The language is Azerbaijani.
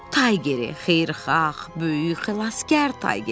Taygeri, xeyirxah, böyük xilaskar Taygeri.